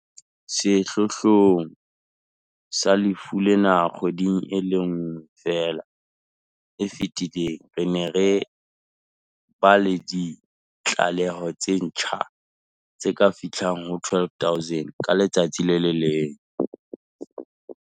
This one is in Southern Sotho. Sehlohlolong sa lefu lena kgweding e le nngwe feela e fetileng, re ne re ba le ditlaleho tse ntjha tse ka fihlang ho 12 000 ka letsatsi.